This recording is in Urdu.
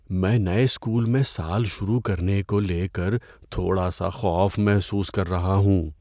میں نئے اسکول میں سال شروع کرنے کو لے کر تھوڑا سا خوف محسوس کر رہا ہوں۔